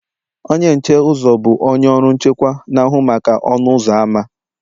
Onye nche uzo, bụ onye ọrụ nchekwa, na-ahụ maka ọnụ ụzọ ámá